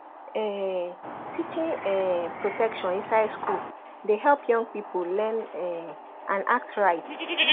um teaching um protection inside school dey help young people learn um and act right